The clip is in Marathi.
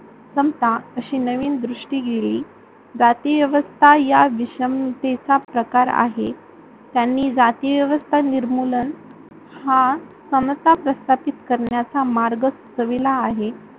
समता अशी नवीन दृष्ठीगिरी जातीव्यवस्था या विषमतेचा प्रकार आहे. त्यांनी जातीव्यवस्था निर्मुलन हा समता प्रस्थापित करण्याचा मार्ग सुचविला आहे.